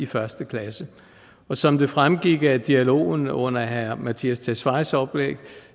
første klasse og som det fremgik af dialogen under herre mattias tesfayes oplæg